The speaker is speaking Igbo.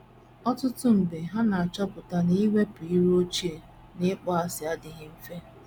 Ọtụtụ mgbe ha na - achọpụta na iwepụ iro ochie na ịkpọasị adịghị mfe.